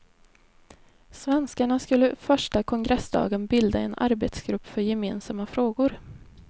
Svenskarna skulle första kongressdagen bilda en arbetsgrupp för gemensamma frågor.